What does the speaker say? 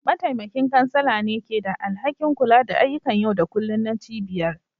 Mataimakin kansala ne ke da alhakin kula da ayyukan yau da kullun na cibiyar.